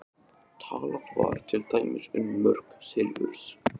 Talað var til dæmis um mörk silfurs.